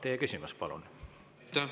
Teie küsimus, palun!